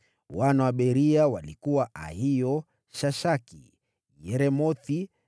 Wana wa Beria walikuwa Ahio, Shashaki, Yeremothi,